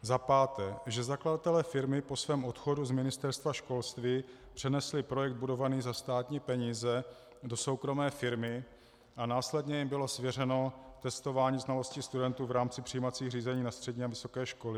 Za páté, že zakladatelé firmy po svém odchodu z Ministerstva školství přenesli projekt budovaný za státní peníze do soukromé firmy a následně jim bylo svěřeno testování znalostí studentů v rámci přijímacích řízení na střední a vysoké školy?